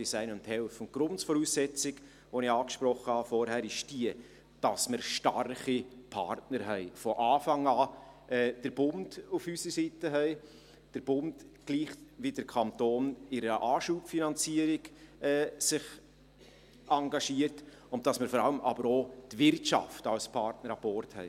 Die Grundvoraussetzung, welche ich vorhin angesprochen habe, ist, dass wir starke Partner haben, von Anfang an den Bund auf unserer Seite haben – der Bund engagiert sich, gleich wieder Kanton, mit einer Anschubfinanzierung – und dass wir aber vor allem auch die Wirtschaft als Partner an Bord haben.